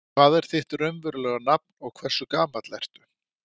Hvað er þitt raunverulega nafn og hversu gamall ertu?